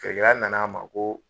Feere na na an ma ko